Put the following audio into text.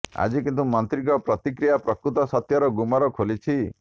ଆଜି କିନ୍ତୁ ମନ୍ତ୍ରୀଙ୍କ ପ୍ରତିକ୍ରିୟା ପ୍ରକୃତ ସତ୍ୟର ଗୁମର ଖୋଲିଛି